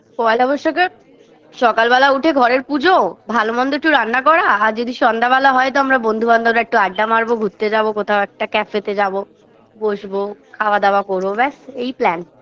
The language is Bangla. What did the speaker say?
পয়লা বৈশাখে সকালবেলা উঠে ঘরের পূজো ভালমন্দ একটু রান্না করা আর যদি সন্ধ্যাবেলা হয় তো আমরা বন্ধুবান্ধবরা একটু আড্ডা মারবো ঘুরতে যাবো কোথাও একটা cafe -এতে যাবো বসবো খাওয়া দাওয়া করবো ব্যস এই plan